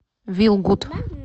вилгуд